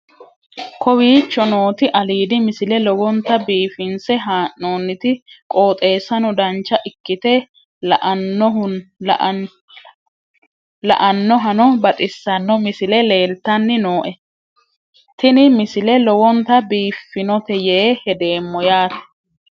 kowicho nooti aliidi misile lowonta biifinse haa'noonniti qooxeessano dancha ikkite la'annohano baxissanno misile leeltanni nooe ini misile lowonta biifffinnote yee hedeemmo yaate